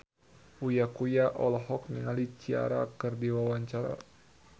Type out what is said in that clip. Uya Kuya olohok ningali Ciara keur diwawancara